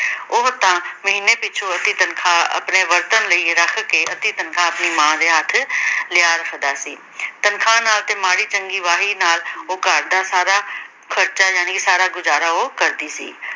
ਉਹ ਤਾਂ ਮਹੀਨੇ ਪਿੱਛੋਂ ਅੱਧੀ ਤਨਖਾਹ ਆਪਣੇ ਵਰਤਣ ਲਈ ਰੱਖ ਕੇ ਅੱਧੀ ਤਨਖਾਹ ਆਪਣੀ ਮਾਂ ਦੇ ਹੇਠ ਲਿਆ ਰੱਖਦਾ ਸੀ। ਤਨਖਾਹ ਨਾਲ ਤਾਂ ਮਾੜੀ ਚੰਗੀ ਵਾਹੀ ਨਾਲ ਉਹ ਘਰ ਦਾ ਸਾਰਾ ਖਰਚਾ ਜਾਣੀ ਸਾਰਾ ਗੁਜ਼ਾਰਾ ਉਹ ਕਰਦੀ ਸੀ।